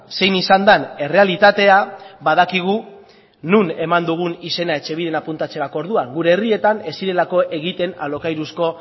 zein izan den errealitatea badakigu non eman dugun izena etxebiden apuntatzerako orduan gure herrietan ez zirelako egiten alokairuzko